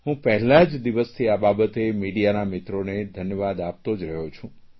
હું પહેલ્લા જ દિવસથી આ બાબતને મીડિયાના મિત્રોને ધન્યવાદ આપતો જ રહું છું